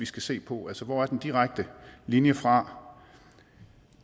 skal se på altså hvor er den direkte linje fra